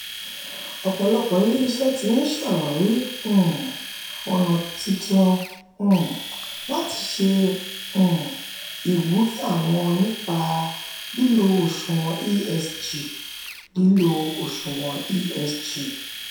ọ̀pọ̀lọpọ̀ ilé-iṣẹ́ ti ń ṣàwárí um ọ̀nà titun um láti ṣe um ìwúrí àwọn nípa lílo òṣùwọ̀n esg. lílo òṣùwọ̀n esg.